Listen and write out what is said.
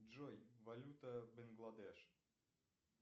джой валюта бангладеш